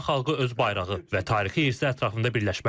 İran xalqı öz bayrağı və tarixi irsi ətrafında birləşməli.